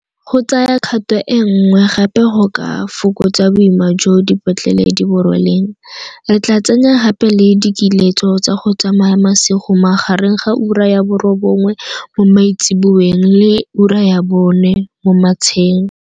Go tsaya kgato e nngwe gape go ka fokotsa boima jo dipetlele di bo rweleng, re tla tsenya gape le dikiletso tsa go tsamaya masigo magareng ga ura ya bo robongwe mo maitsiboeng le ura ya bone mo matsheng.